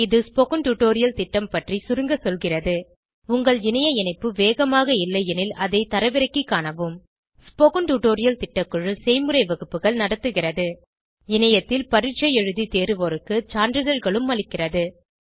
இது spoken tutorial திட்டம் பற்றி சுருங்க சொல்கிறது உங்கள் இணைய இணைப்பு வேகமாக இல்லையெனில் அதை தரவிறக்கிக் காணவும் ஸ்போகன் டுடோரியல் திட்டக்குழு செய்முறை வகுப்புகள் நடத்துகிறது இணையத்தில் பரீட்சை எழுதி தேர்வோருக்கு சான்றிதழ்களும் அளிக்கிறது